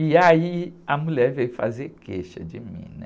E aí a mulher veio fazer queixa de mim, né?